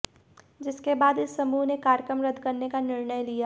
जिसके बाद इस समूह ने कार्यक्रम रद्द करने का निर्णय लिया